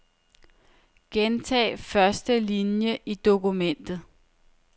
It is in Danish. Gentag første linie i dokumentet.